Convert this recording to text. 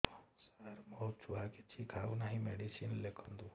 ସାର ମୋ ଛୁଆ କିଛି ଖାଉ ନାହିଁ ମେଡିସିନ ଲେଖନ୍ତୁ